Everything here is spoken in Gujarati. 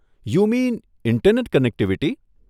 યું મીન ઇન્ટરનેટ કનેક્ટિવિટી?